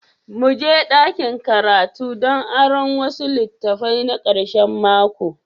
Mu je dakin karatu don aron wasu litattafai na karshen mako.